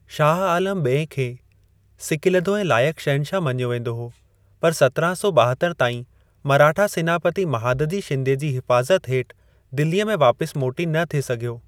शाह आलम ॿिएं खे सिकीलधो ऐं लाइक शहंशाह मञियो वेंदो हो, पर सत्राहं सौ ॿाहत्तर ताईं मराठा सेनापति महादजी शिंदे जी हिफाज़त हेठ दिल्लीअ में वापस मोटी न थे सघियो।